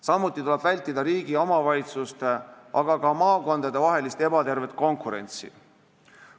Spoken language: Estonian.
Samuti tuleb vältida riigi ja omavalitsuste, aga ka maakondadevahelist ebatervet konkurentsi.